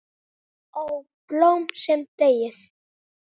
Ó, blóm sem deyið!